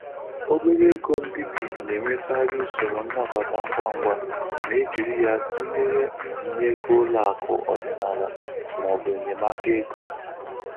Obere ego mbibi na-enwekarị usoro nnabata ngwa ngwa ma e jiri ya tụnyere mbinye ego ụlọ akụ ọdịnala ma ọ bụ enyemaka ego.